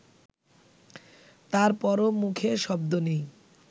তারপরও মুখে শব্দ নেই